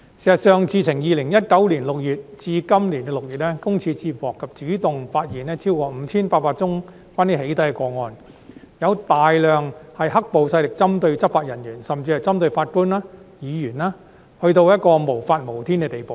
事實上，自2019年6月至今年6月，個人資料私隱專員公署接獲及主動發現超過 5,800 宗關於"起底"的個案，有大量是"黑暴"勢力針對執法人員，甚至針對法官和議員的個案，已經達到無法無天的地步。